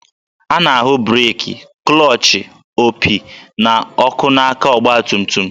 A na-ahụ breeki, klọchị, opi, na ọkụ n'aka ọgbatumtum